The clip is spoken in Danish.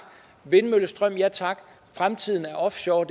vindmøllestrøm ja tak fremtiden er offshore